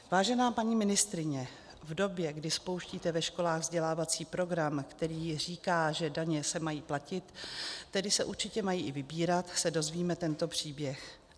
Vážená paní ministryně, v době, kdy spouštíte ve školách vzdělávací program, který říká, že daně se mají platit, tedy se určitě mají i vybírat, se dozvíme tento příběh.